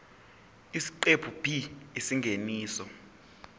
isiqephu b isingeniso